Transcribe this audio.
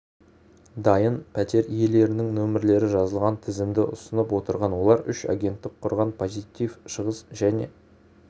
дайын пәтер иелерінің нөмірлері жазылған тізімді ұсынып отырған олар үш агенттік құрған позитив шығыс және